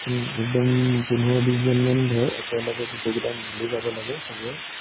উম একদম, পোন্ধৰ বিশজন মান ধৰ, একেলগে গোটেইকিটা মিলি যাব লাগে সৱেই।